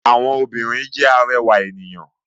Àwọn obìrin jẹ́ arẹwà ènìyàn.